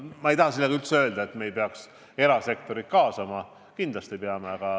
Ma ei taha sellega üldse öelda, et me ei peaks erasektorit kaasama – kindlasti peame.